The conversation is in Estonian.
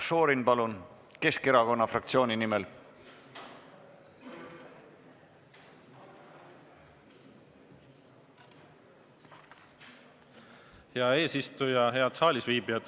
Marko Šorin Keskerakonna fraktsiooni nimel, palun!